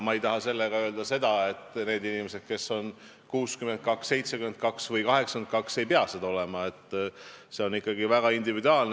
Ma ei taha sellega öelda, et need inimesed, kes on 62, 72 või 82, ei peaks seda olema, see on ikkagi väga individuaalne.